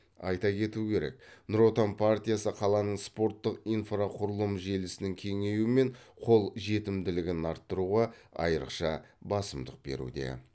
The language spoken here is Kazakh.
айта кету керек нұр отан партиясы қаланың спорттық инфрақұрылым желісінің кеңейуі мен қол жетімділігін арттыруға айрықша басымдық беруде